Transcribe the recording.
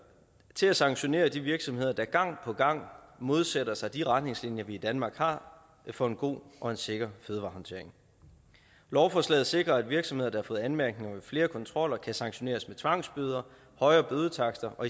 til at sanktionere de virksomheder der gang på gang modsætter sig de retningslinjer vi i danmark har for en god og sikker fødevarehåndtering lovforslaget sikrer at virksomheder der har fået anmærkninger i flere kontroller kan sanktioneres med tvangsbøder højere bødetakster og